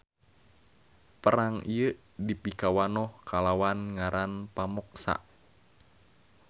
Perang ieu dipikawanoh kalawan ngaran Pamoksa.